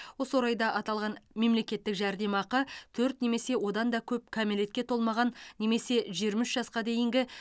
осы орайда аталған мемлекеттік жәрдемақы төрт немесе одан да көп кәмелетке толмаған немесе жиырма үш жасқа дейінгі